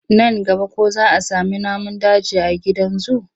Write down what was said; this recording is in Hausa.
Nan gaba ko za sami namun daji a gidan zu?